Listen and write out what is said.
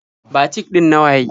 Batik ɗin na waye?